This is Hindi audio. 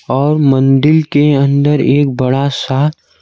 और मंदिल के अंदर एक बड़ा सा--